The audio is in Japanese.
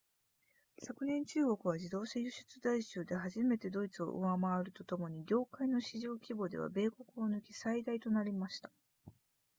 昨年中国は自動車輸出台数で初めてドイツを上回るとともに業界の市場規模では米国を抜き最大となりました